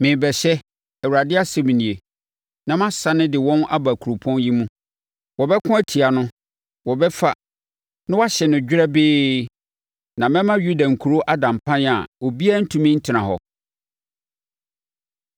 Merebɛhyɛ, Awurade asɛm nie, na mɛsane de wɔn aba kuropɔn yi mu. Wɔbɛko atia no, wɔbɛfa, na wɔahye no dwerɛbee. Na mɛma Yuda nkuro ada mpan a ɔbiara rentumi ntena hɔ.”